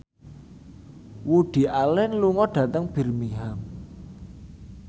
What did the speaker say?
Woody Allen lunga dhateng Birmingham